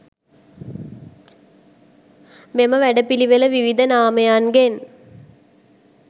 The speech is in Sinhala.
මෙම වැඩ පිළිවෙළ විවිධ නාමයන්ගෙන්